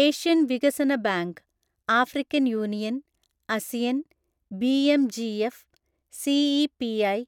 Asian വികസന bank, African Union, ASEAN, BMGF, CEPI,